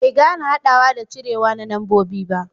bai gane hadawa da cirewa na nambobi ba